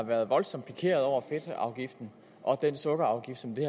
været voldsomt pikeret over fedtafgiften og den sukkerafgift som vi